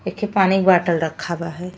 एखे पानी बॉटल राखा बा ह।